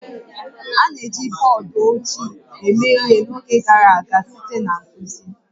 A na-eji bọọdụ ojii eme ihe n'oge gara aga site na nkuzi